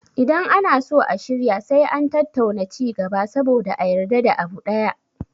Idan ana so a shirya sai an tattauna ci gaba saboda a yarda da abu ɗaya